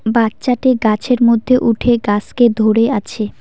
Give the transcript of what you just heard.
বাচ্চাটি গাছের মধ্যে উঠে গাসকে ধরে আছে।